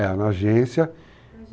É, na agência.